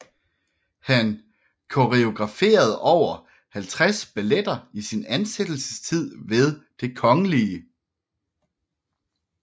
Han koreograferede over 50 balletter i sin ansættelsestid ved Det kgl